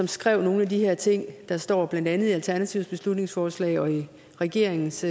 skrev nogle af de her ting der står i blandt andet alternativets beslutningsforslag og i regeringens